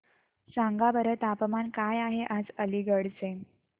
सांगा बरं तापमान काय आहे आज अलिगढ चे